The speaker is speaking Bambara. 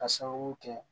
K'a sababu kɛ